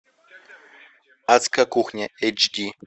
адская кухня эйч ди